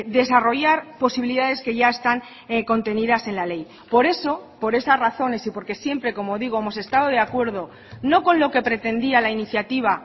desarrollar posibilidades que ya están contenidas en la ley por eso por esas razones y porque siempre como digo hemos estado de acuerdo no con lo que pretendía la iniciativa